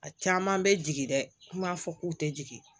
A caman bɛ jigin dɛ an b'a fɔ k'u tɛ jigin